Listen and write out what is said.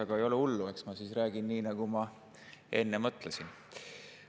Aga ei ole hullu, eks ma siis räägin nii, nagu ma enne mõtlesin.